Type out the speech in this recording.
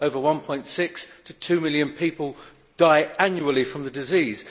1.6 million to 2 million people die annually from the disease.